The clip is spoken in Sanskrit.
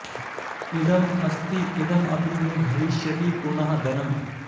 इदम् अस्ति इदम् अपि मे भविष्यति पुनः धनम्